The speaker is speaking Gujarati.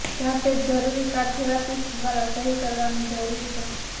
જાતે જ જરૂરી કાર્ડ થેરાપિસ્ટ દ્વારા સહી કરવાની જરૂર છે